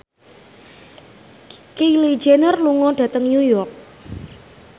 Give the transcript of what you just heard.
Kylie Jenner lunga dhateng New York